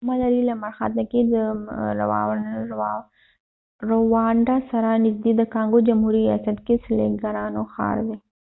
ګوما لرې لمرخاته کې رووانډا سره نږدې د کانګو جمهوري ریاست کې د سېلګرانو ښار دی